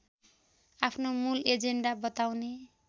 आफ्नो मूल एजेन्डा बताउने